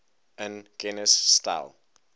in kennis stel